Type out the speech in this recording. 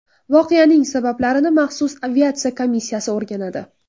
Voqeaning sabablarini maxsus aviatsiya komissiyasi o‘rganadi.